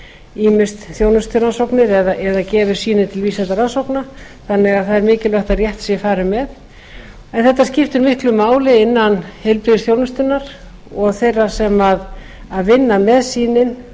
ýmist þjónusturannsóknir eða gefi sýni til vísindarannsókna þannig að það er mikilvægt að rétt sé farið með en þetta skiptir miklu máli innan heilbrigðisþjónustunnar og þeirra sem vinna með sýnin